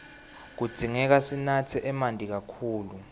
kudzingeka sinatse emanti kakhulu